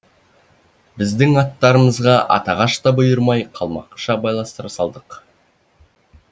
біздің аттарымызға атағаш та бұйырмай қалмақша байластыра салдық